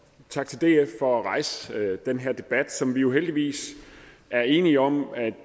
tak til df for at rejse den her debat som vi jo heldigvis er enige om at